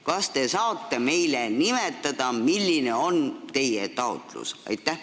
Kas te saate meile nimetada, milline on teie taotlus?